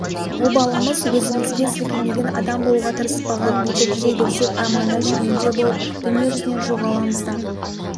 обалымыз өзімізге сілкінбеген адам болуға тырыспаған бүйтіп жүре берсек арманда шерменде болып дүние жүзінен жоғаламыз да